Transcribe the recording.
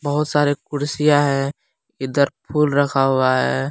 बहुत सारे कुर्सियां है इधर फुल रखा हुआ है।